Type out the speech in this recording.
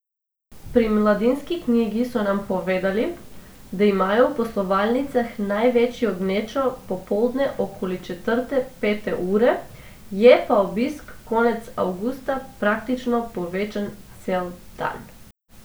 Pri Mladinski knjigi so nam povedali, da imajo v poslovalnicah največjo gnečo popoldne okoli četrte, pete ure, je pa obisk konec avgusta praktično povečan cel dan.